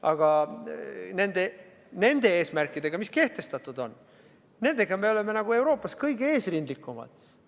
Aga nende eesmärkide suhtes, mis kehtestatud on, oleme me Euroopas kõige eesrindlikumad.